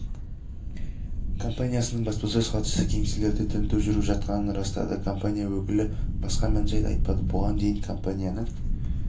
компаниясының баспасөз хатшысы кеңселерде тінту жүріп жатқанын растады компания өкілі басқа мән-жайды айтпады бұған дейін компанияның